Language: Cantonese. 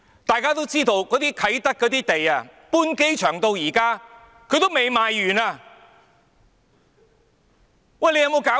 大家都知道，啟德的土地自機場搬遷至今仍未賣完，有沒有搞錯？